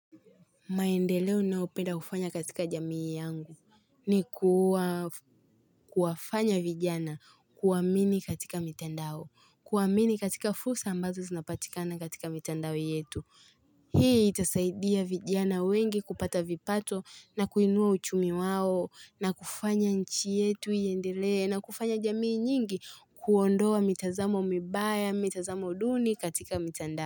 Maendeleo ninayopenda kufanya katika jamii yangu ni kuwafanya vijana kuamini katika mitandao kuamini katika fursa ambazo zinapatikana katika mitandao yetu Hii itasaidia vijana wengi kupata vipato na kuinua uchumi wao na kufanya nchi yetu iendelee na kufanya jamii nyingi kuondoa mitazamo mibaya mitazamo duni katika mitandao.